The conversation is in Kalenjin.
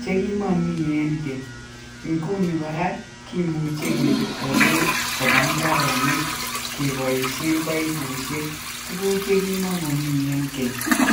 chekimami eng keny. Nguni kora kimuchi kepirto beek koba imbaaronik kepoishen paipushek, tuguuk che kimami eng keny.